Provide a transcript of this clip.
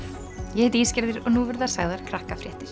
ég heiti Ísgerður og nú verða sagðar